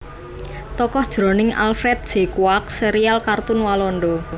Tokoh jroning Alfred J Kwak sérial kartun Walanda